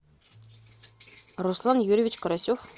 руслан юрьевич карасев